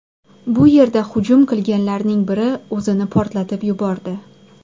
Bu yerda hujum qilganlarning biri o‘zini portlatib yubordi.